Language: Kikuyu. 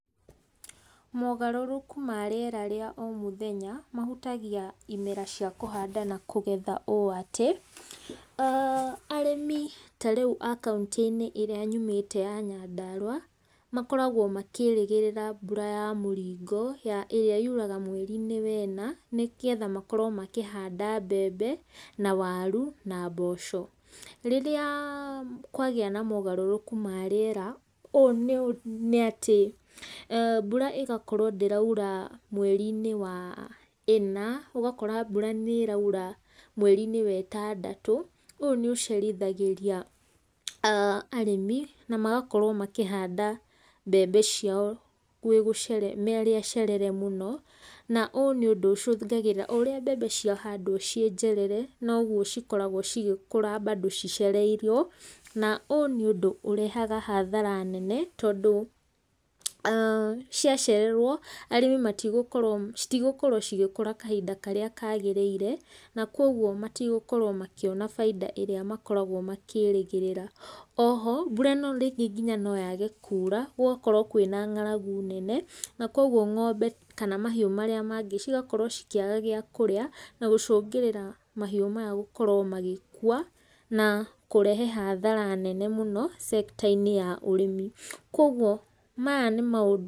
Mogarũrũku ma rĩera rĩa o mũthenya mahũtagia imera cia kũhanda na kũgetha ũũ atĩa, arĩmi tarĩu a kaũntĩ ĩrĩa nyumĩte ya Nyandarũa, makoragwo makĩrĩgĩrĩra mbura ya mũringo, ĩrĩa yuraga mweri wena, nĩgetha makorwo makĩhanda mbembe, na waru, na mboco. Rĩrĩa kwagĩa na mogarũrũku marĩera, ũũ nĩ atĩ, mbura ĩgakorwo ndĩraura, mweri-inĩ wa ĩna, ũgakora mbura ĩraura mweri wetandatũ, ũũ nĩ ũcerithagĩria arĩmi, na magakorwo makĩhanda mbembe ciao marĩ acerere mũno, na ũũ nĩ ũndũ ũcũngagĩrĩra, oũrĩa mbembe ciahandwo ciĩnjerere, noguo cikoragwo cigĩkũra mbandũ cicereirwo, na ũũ nĩ ũndũ ũrehaga hathara nene, tondũ ciacererwo arĩmi citigũkorwo cigĩkũra kahinda karĩa kagĩrĩire, na koguo matigũkorwo makĩona bainda ĩrĩa makoragwo makĩrĩgĩrĩra. Oho mbura ĩno nginya noyage kuura, gũgakorwo kwĩna ng'aragu nene, na koguo ng'ombe kana mahiũ marĩa mangĩ cigakorwo cikĩaga gĩakũrĩa, na gũcũngĩrĩra mahiũ maya gũkorwo magĩkua, na kũrehe hathara nene mũno, sector -inĩ ya ũrĩmi. Kwoguo maya nĩ maũndũ